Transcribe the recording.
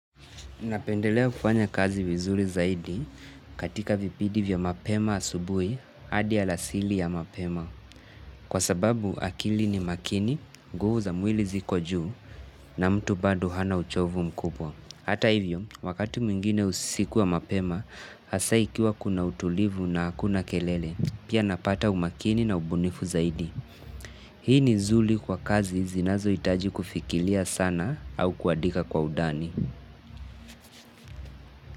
Napendelea kufanya kazi vizuri zaidi, katika vipindi vya mapema asubuhi, hadi alasiri ya mapema. Kwa sababu akili ni makini, nguvu za mwili ziko juu na mtu bado hana uchovu mkubwa. Hata hivyo, wakati mwingine usiku wa mapema, hasa ikiwa kuna utulivu na hakuna kelele. Pia napata umakini na ubunifu zaidi. Hii ni nzuri kwa kazi zinazohitaji kufikiria sana au kuandika kwa undani.